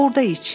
Orda iç.